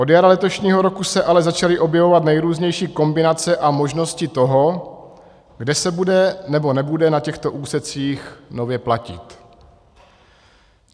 Od jara letošního roku se ale začaly objevovat nejrůznější kombinace a možnosti toho, kde se bude nebo nebude na těchto úsecích nově platit.